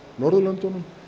Norðurlöndunum